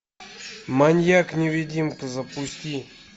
маньяк невидимка запусти